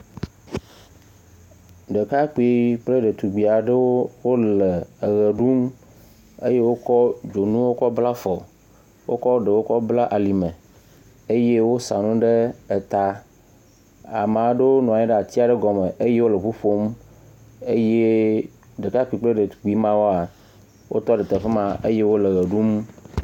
Ɖekakpui kple ɖetugbui aɖewo wole eʋe ɖum eye wokɔ dzonuwo kɔ bla afɔ, wokɔ ɖewo kɔ bla alime, eye wosa nu eta. Amea ɖewo nɔ anyi ɖe ati aɖe gɔme eye wole ŋu ƒom eye ɖekakpui kple ɖetugbui mawoa, wotɔ ɖe teƒe ma eye wole ʋe ɖum.